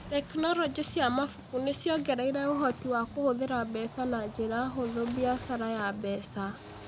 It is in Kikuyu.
Tekinoronjĩ cia mabuku nĩ ciongereire ũhoti wa kũhũthĩra mbeca na njĩra hũthũ biacara ya mbeca